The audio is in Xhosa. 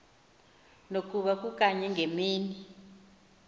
nokuba kukanye ngemini